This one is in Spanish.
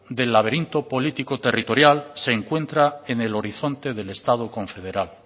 del laberinto político territorial se encuentra en el horizonte del estado confederado